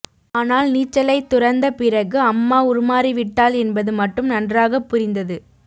ஆனால் நீச்சலைத் துறந்த பிறகு அம்மா உருமாறிவிட்டாள் என்பது மட்டும் நன்றாகப் புரிந்தது